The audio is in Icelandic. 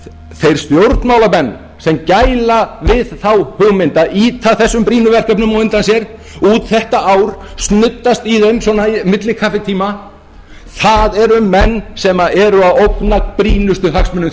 þeir stjórnmálamenn sem gæla við þá hugmynd að ýta þessum brýnu verkefnum á undan sér út þetta ár snuddast í þeim svona á milli kaffitíma það eru menn sem eru að ógna brýnustu hagsmunum